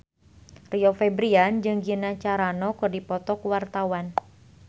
Rio Febrian jeung Gina Carano keur dipoto ku wartawan